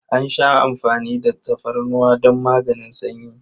An sha amfani da tafarnuwa don maganin sanyi.